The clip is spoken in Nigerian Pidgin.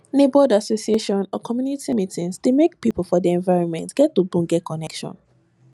neighborhood association or community meetings dey make pipo for di environment get ogbonge connection